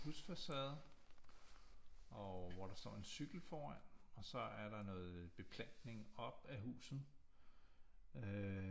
Husfacade og hvor der står en cykel foran og så er der noget beplantning op af huset øh